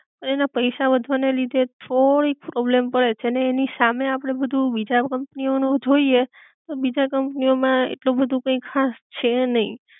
અને એના પૈસા વધવા ના લીધે થોડીક પ્રૉબ્લેમ પડે છે, ને એની સામે આપડે બધુ બીજા કંપની ઑ નું જોઈ એ તો બીજા કંપની ઑ માં આટલું બધુ કાઇ ખાસ છે નહિ